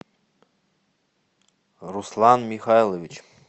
руслан михайлович